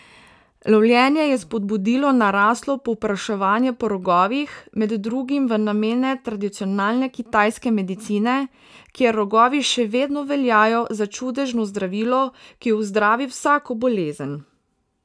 Lovljenje je spodbudilo naraslo povpraševanje po rogovih, med drugim v namene tradicionalne kitajske medicine, kjer rogovi še vedno veljajo za čudežno zdravilo, ki ozdravi vsako bolezen.